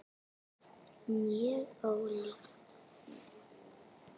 Mjög ólíkt honum.